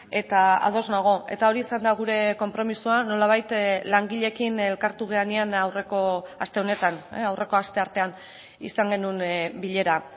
eta ados nago eta hori izan da gure konpromisoa nolabait langileekin elkartu garenean aurreko aste honetan aurreko asteartean izan genuen bilera